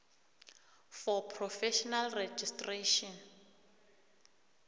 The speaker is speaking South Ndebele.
for professional registration